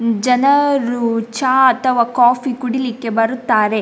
ಜನರು ಚಾ ಅಥವಾ ಕಾಫಿ ಕುಡೀಲಿಕ್ಕೆ ಬರುತ್ತಾರೆ.